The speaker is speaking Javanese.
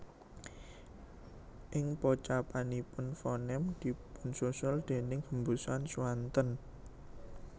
Ing pocapanipun fonem dipunsusul déning hembusan swanten